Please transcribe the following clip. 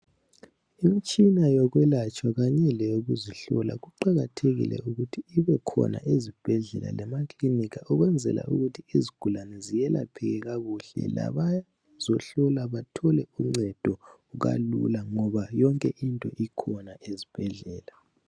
Imitshina yokwelatshwa kanye leyokuzihlola, kuqakathekile ukuthi ibekhona ezibhedlela lema clinic ukwenzela ukuthi izigulane ziyelapheke kakuhle labazohlola bathole uncedo kalula ngoba yonke into ikhona ezibhedlela.